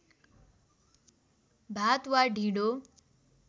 भात वा ढिँडो